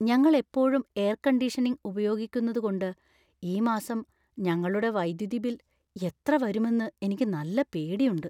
ഞങ്ങൾ എപ്പോഴും air conditioning ഉപയോഗിക്കുന്നതുകൊണ്ട് ഈ മാസം ഞങ്ങളുടെ വൈദ്യുതി ബിൽ എത്ര വരുമെന്ന് എനിക്ക് നല്ല പേടിയുണ്ട്.